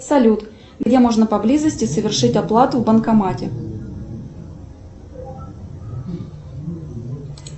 салют где можно поблизости совершить оплату в банкомате